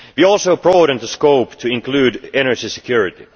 We also broadened the scope to include energy security.